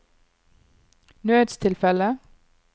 nødstilfelle